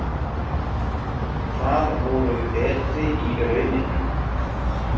Það voru betri í rauninni.